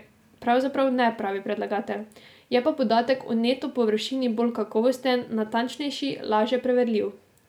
Pravzaprav ne, pravi predlagatelj, je pa podatek o neto površini bolj kakovosten, natančnejši, laže preverljiv.